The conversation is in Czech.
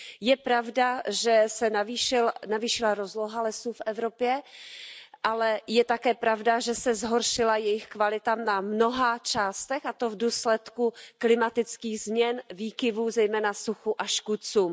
Je pravda, že se navýšila rozloha lesů v Evropě, ale je také pravda, že se zhoršila jejich kvalita na mnoha částech, a to v důsledku klimatických změn, výkyvů, zejména suchu, a škůdcům.